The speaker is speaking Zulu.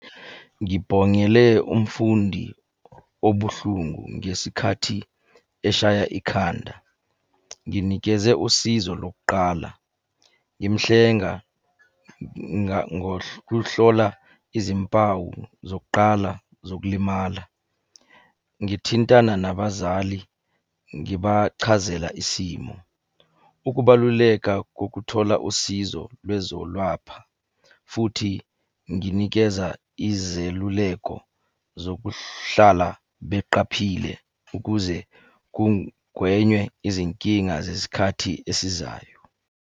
Ngibhongele umfundi obuhlungu ngesikhathi eshaya ikhanda. Nginikeze usizo lokuqala, ngimuhlenga ngokuhlola izimpawu zokuqala zokulimala. Ngithintana nabazali, ngibachazela isimo. Ukubaluleka kokuthola usizo lwezolapha, futhi nginikeza izeluleko zokuhlala beqaphile ukuze kugwenywe izinkinga zesikhathi esizayo.